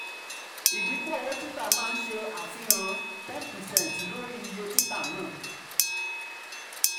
idinku um owo tita maa um nse afihan ten percent lori um iye tita naa.